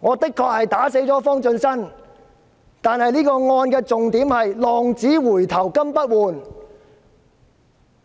我的確打死了方進新，但這宗案件的重點是'浪子回頭金不換'！